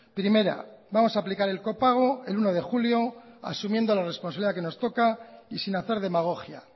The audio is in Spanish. primera vamos a aplicar el copago el uno de julio asumiendo la responsabilidad que nos toca y sin hacer demagogia